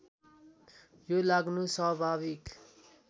यो लाग्नु स्वाभाविक